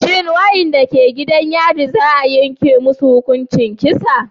Shin wadanda ke gidan yarin za a yanke musu hukuncin kisa